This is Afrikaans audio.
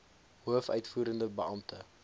hoof uitvoerende beampte